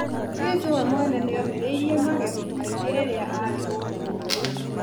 Jesũ we mwene nĩomĩrĩirie magerio maingĩ rĩrĩa arĩ gũkũ thĩ